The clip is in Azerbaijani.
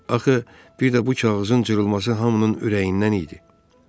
Axı, bir də bu kağızın cırılması hamının ürəyindən idi.